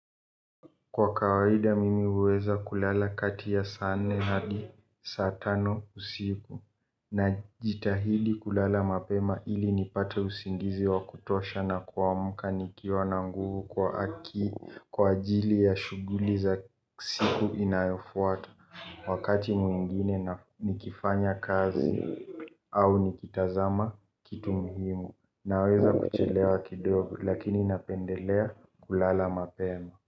Kwa kawaida mimi huweza kulala kati ya saa nne hadi saa tano usiku. Najitahidi kulala mapema ili nipate usingizi wa kutosha na kuamka nikiwa na nguvu kwa ajili ya shughuli za siku inayofuata. Wakati mwingine nikifanya kazi au nikitazama kitu muhimu. Naweza kuchelewa kidogo lakini napendelea kulala mapema.